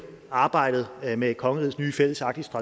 arbejdet med kongerigets nye fælles arktiske